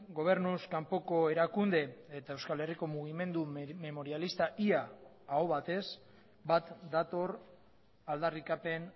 gobernuz kanpoko erakunde eta euskal herriko mugimendu memorialista ia aho batez bat dator aldarrikapen